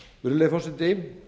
virðulegi forseti